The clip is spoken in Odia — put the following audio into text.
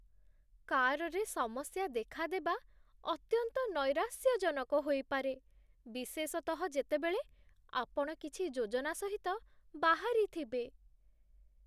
କାର୍‌ରେ ସମସ୍ୟା ଦେଖାଦେବା ଅତ୍ୟନ୍ତ ନୈରାଶ୍ୟଜନକ ହୋଇପାରେ, ବିଶେଷତଃ, ଯେତେବେଳେ ଆପଣ କିଛି ଯୋଜନା ସହିତ ବାହାରିଥିବେ।